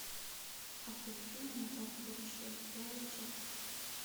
обзор фильма назад в будущее первая часть